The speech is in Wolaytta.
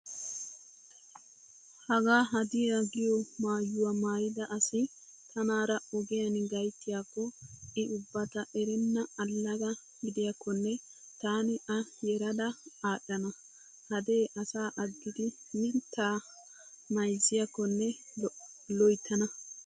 Hagaa hadiya giyo maayyuwaa maayida asi tanaara ogiyan gayttiyaakko I ubba ta erenna allaga gidiyakonne taani a yerada adhana. Hadee asaa aggidi mittaa mayzziyakkonne loyttana.